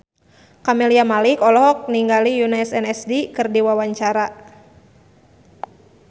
Camelia Malik olohok ningali Yoona SNSD keur diwawancara